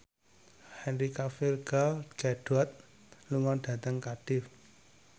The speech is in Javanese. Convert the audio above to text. Henry Cavill Gal Gadot lunga dhateng Cardiff